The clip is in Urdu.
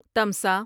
تمسا